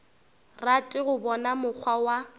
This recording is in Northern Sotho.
rate go bona mokgwa wa